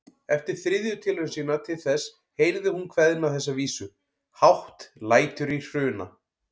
Eftir þriðju tilraun sína til þess heyrði hún kveðna þessa vísu: Hátt lætur í Hruna